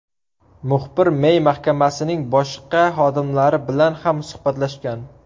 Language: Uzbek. Muxbir Mey mahkamasining boshqa xodimlari bilan ham suhbatlashgan.